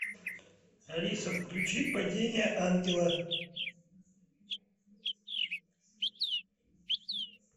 алиса включи падение ангела